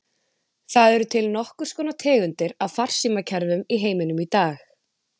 Það eru til nokkrar tegundir af farsímakerfum í heiminum í dag.